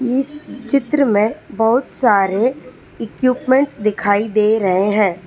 इस चित्र में बहुत सारे इक्विपमेंट्स दिखाई दे रहे हैं।